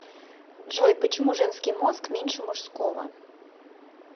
джой почему женский мозг меньше мужского